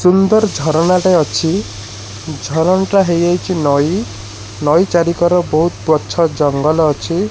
ସୁନ୍ଦର ଝରଣାଟେ ଅଛି। ଝରଣାଟେ ହେଇଯାଇଚି ନଈ। ନଈ ଚାରି କର ବହୁତ ପଛ ଜଙ୍ଗଲ ଅଛି।